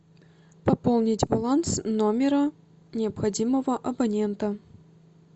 пополнить баланс номера необходимого абонента